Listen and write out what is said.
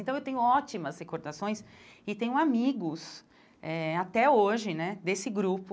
Então, eu tenho ótimas recordações e tenho amigos, eh até hoje né, desse grupo.